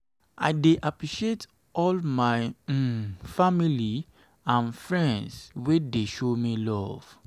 i dey appreciate all my um family um and friends wey dey show me love.